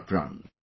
Kharpran